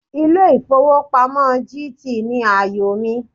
Ilé ìfowópamọ́ GT ni àyò mi.